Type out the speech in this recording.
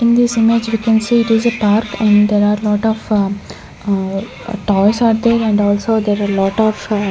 in this image we can see it is a park and there are lot of toys are there and also there are lot of a --